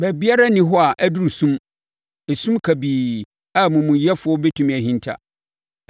Baabiara nni hɔ a aduru sum, esum kabii, a amumuyɛfoɔ bɛtumi ahinta.